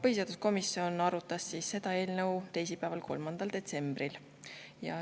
Põhiseaduskomisjon arutas seda eelnõu teisipäeval, 3. detsembril.